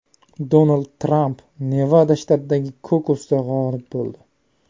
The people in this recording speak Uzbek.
Donald Tramp Nevada shtatidagi kokusda g‘olib bo‘ldi.